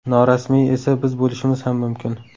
Norasmiyi esa biz bo‘lishimiz ham mumkin.